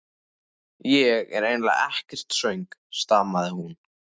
Ég er eiginlega ekkert svöng stamaði hún.